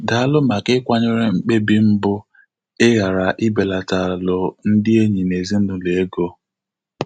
Daalụ maka ịkwanyere mkpebi m bụ ịghara ibelatalụ ndị enyi na ezinụlọ ego.